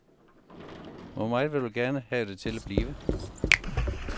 Hvor meget vil du gerne have det til at blive?